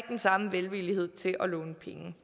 den samme velvillighed til at låne penge